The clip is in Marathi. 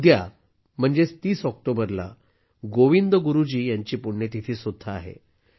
उद्या म्हणजेच 30 ऑक्टोबरला गोविंदगुरु जी यांची पुण्यतिथी सुद्धा आहे